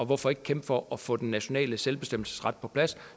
hvorfor ikke kæmpe for at få den nationale selvbestemmelsesret på plads